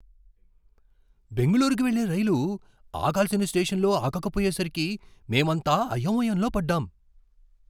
బెంగళూరుకు వెళ్లే రైలు ఆగాల్సిన స్టేషన్లో ఆగకపోయేసరికి మేమంతా అయోమయంలో పడ్డాం.